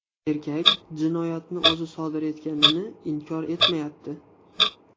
Erkak jinoyatni o‘zi sodir etganini inkor etmayapti.